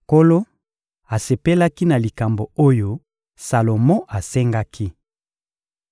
Nkolo asepelaki na likambo oyo Salomo asengaki.